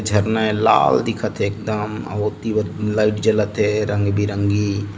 जरना ऐ लाल दिखत हे एकदम अऊ ओती लाईट जलत हे रंग बेरंगी --